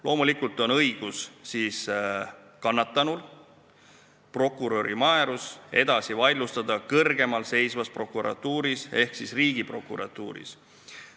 Loomulikult on kannatanul õigus vaidlustada prokuröri määrus kõrgemalseisvas prokuratuuris ehk Riigiprokuratuuris.